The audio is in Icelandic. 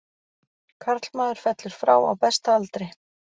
Karlmaður fellur frá á besta aldri.